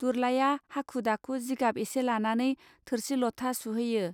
दुरलाया हाखु दाखु जिगाब एसे लानानै थोरसि लथा सुहैयो